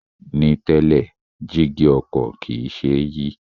Ní tẹ́lẹ̀, jígí ọkọ̀ kìí ṣe é yí